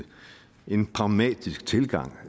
en pragmatisk tilgang